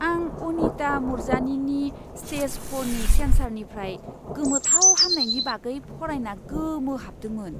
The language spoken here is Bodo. आं अनिता मुरजानीनि स्टेज फ'र नि केन्सारनिफ्राय गोमोथाव हामनायनि बागै फरायना गोमोहाबदोंमोन!